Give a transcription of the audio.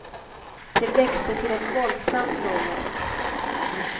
Det växte till ett våldsamt muller.